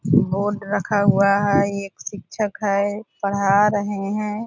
board रखा हुआ है | ये एक शिक्षक है पढ़ा रहे हैं |